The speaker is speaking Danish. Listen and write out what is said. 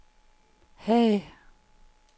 Haag